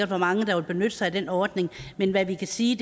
hvor mange der vil benytte sig af den ordning men hvad vi kan sige